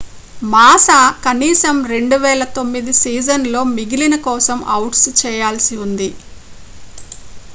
మాసా కనీసం 2009 సీజన్ లో మిగిలిన కోసం అవుట్ చేయాల్సి ఉంది